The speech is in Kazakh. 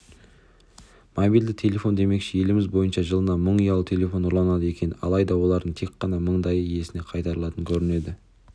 мобильді телефон демекші еліміз бойынша жылына мың ұялы телефон ұрланады екен алайда олардың тек қана мыңдайы иесіне қайтарылатын көрінеді